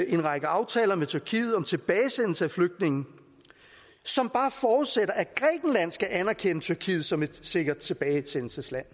en række aftaler med tyrkiet om tilbagesendelse af flygtninge som bare forudsætter at grækenland skal anerkende tyrkiet som et sikkert tilbagesendelsesland